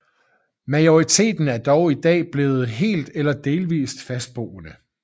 Majoriteten er dog i dag blevet helt eller delvist fastboende